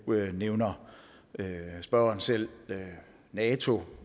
nævner spørgeren selv nato